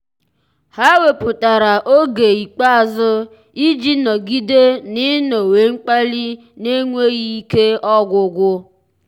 há wépụ́tara oge ikpeazụ iji nọ́gídé n’ị́nọ́wé mkpali n’énwéghị́ ike ọ́gwụ́gwụ́.